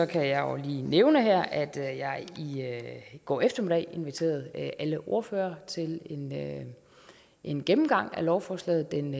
kan jeg lige nævne her at jeg i går eftermiddag inviterede alle ordførere til en gennemgang af lovforslaget den